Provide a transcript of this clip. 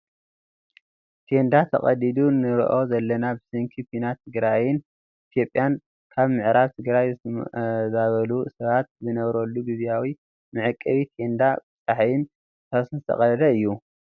ቴንዳ ተቀዲዱ ንርኦ ዘለና ብሰንኪ ኩናት ትግራይን ኢትዮጵያን ካብ ምዕራብ ትግራይ ዝተማዛበሉ ሰባት ዝነብርሉ ግዝያዊ መዕቆቢ ቴንዳ ብፅሓይን ንፋስን ዝተቀደደ እዩ።